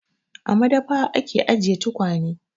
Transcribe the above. A madafa ake ajiye tukwane.